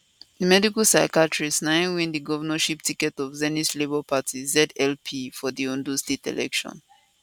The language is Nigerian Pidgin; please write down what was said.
di medical psychiatrist na im win di governorship ticket of zenith labour party zlp for di ondo sate election